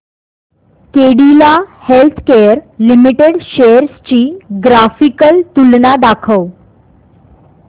Cadila healthcare limited shares ची graphical तुलना दाखव